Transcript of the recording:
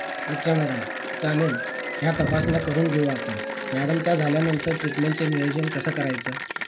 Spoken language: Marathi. अच्छा मॅडम चालेल या तपासण्या करून घेऊ आपण मॅडम त्या झाल्यानंतर ट्रीटमेंट चे नियोजन कसं करायचं